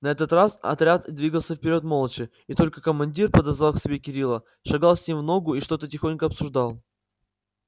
на этот раз отряд двигался вперёд молча и только командир подозвав к себе кирилла шагал с ним в ногу и что-то тихонько обсуждал